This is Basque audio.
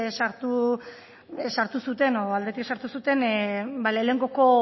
sartu zuten lehenengo